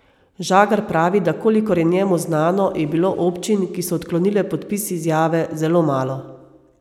Žagar pravi, da kolikor je njemu znano, je bilo občin, ki so odklonile podpis izjave, zelo malo.